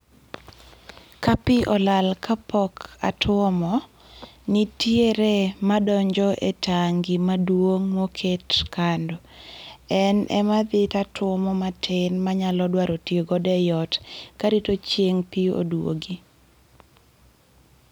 Kapi olal kapok atuomo, nitiere madonjo e tangi maduong' moket kando. En ema adhi tatuomo matin manyalo dwaro tiyo godo ei ot karito chieng' pi oduogi.